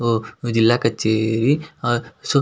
ಒಹ್ my ಜಿಲ್ಲಾ ಕಚೇರಿ oh so --